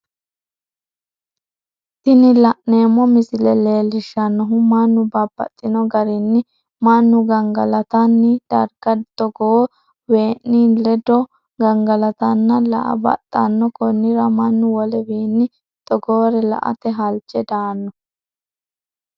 Tini la'neemo misile leellishanohu mannu babaxxino garinni manu gangalantanni dariga togoo wee'ni ledo gangalatanna la'a baxxanno konira manu woluwiini togoore la'ate halche daa'no